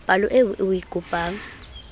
palo eo o e kopang